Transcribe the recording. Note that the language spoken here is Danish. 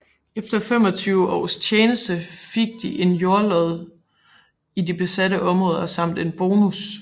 Efter 25 års tjeneste fik de en jordlod i de besatte områder samt en bonus